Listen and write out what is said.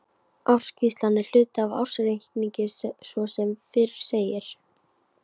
Ársskýrslan er hluti af ársreikningi svo sem fyrr segir.